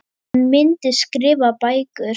Hann myndi skrifa bækur.